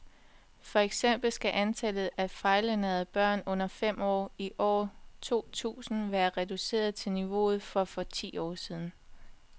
For eksempel skal antallet af fejlernærede børn under fem år i år to tusind være reduceret til niveauet for for ti år siden.